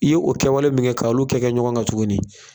I ye o kɛwale min kɛ ka olu kɛ kɛ ɲɔgɔn kan tuguni